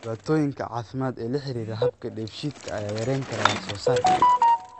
Dhibaatooyinka caafimaad ee la xidhiidha habka dheefshiidka ayaa yarayn kara wax soo saarka.